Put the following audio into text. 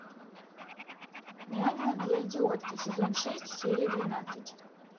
няня для идиотки сезон шесть серия двенадцать